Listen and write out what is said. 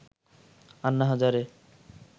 Anna Hazare